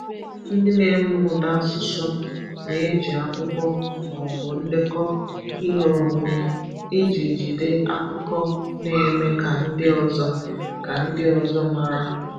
Ndị na-eme ụda asụsụ na-eji akwụkwọ ma ọ bụ ndekọ ihe omume iji jide akụkọ na-eme ka ndị ọzọ ka ndị ọzọ mara.